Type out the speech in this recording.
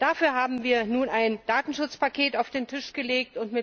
Dafür haben wir nun ein Datenschutzpaket auf den Tisch gelegt.